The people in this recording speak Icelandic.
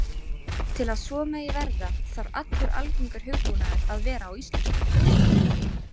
Til að svo megi verða þarf allur algengur hugbúnaður að vera á íslensku.